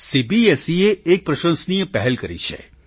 સીબીએસઈએ એક પ્રશંસનીય પહેલ કરી છે